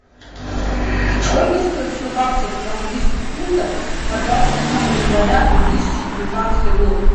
сколько стоит сто баксов в английских фунтах на двадцать седьмое января две тысячи девятнадцатый год